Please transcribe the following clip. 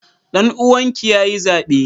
Danuwan ki yayi zabe?